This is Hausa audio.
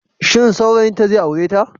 Shin saurayinta zai aure ta?